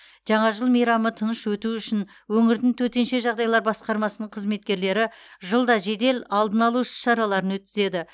жаңа жыл мейрамы тыныш өту үшін өңірдің төтенше жағдайлар басқармасының қызметкерлері жылда жедел алдын алу іс шараларын өткізеді